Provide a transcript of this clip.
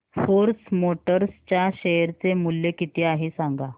force Motors च्या share चे मूल्य किती आहे सांगा